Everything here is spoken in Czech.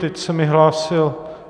Teď se mi hlásil...